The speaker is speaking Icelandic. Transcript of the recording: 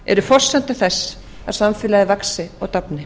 eru forsenda þess að samfélagið vaxi og dafni